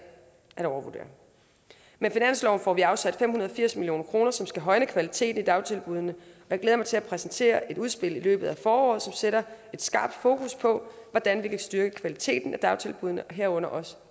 at overvurdere med finansloven får vi afsat fem hundrede og firs million kr som skal højne kvaliteten i dagtilbuddene jeg glæder mig til at præsentere et udspil i løbet af foråret som sætter et skarpt fokus på hvordan vi kan styrke kvaliteten i dagtilbuddene herunder også